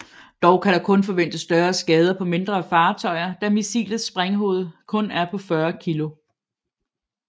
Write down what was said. Dog kan der kun forventes større skader på mindre fartøjer da missilets sprænghoved kun er på 40 kg